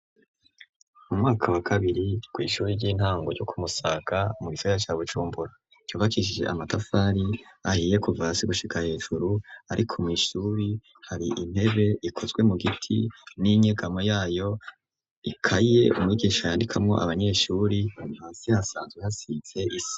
Mu mwaka wakabiri kw' ishuri ry'intango ryo kumusaga ,mu gisagara ca Bucumbura, cubakishije Amatafari ahiye, kuva hasi gushika hejuru, ariko mw' ishuri hari intebe ikozwe mu giti, n'inyegamo yayo, ikaye umwigisha yandikako Abanyeshuri , Hasi hasanzwe hasize Isima.